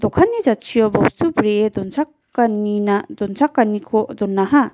dokanni jatchio bostu bree dokchakanina donchakaniko donaha.